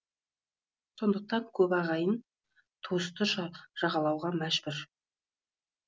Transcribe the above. сондықтан көбі ағайын туысты жағалауға мәжбүр